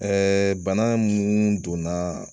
bana mun donna